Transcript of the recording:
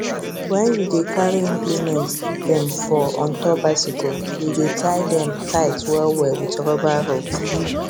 when you dey carry implement dem for on top bicycle we dey tie dem tight well well with rubber robe